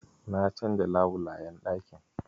Na canza labulayen ɗakin.